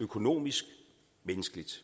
økonomisk og menneskeligt